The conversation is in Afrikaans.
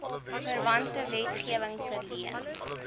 verwante wetgewing verleen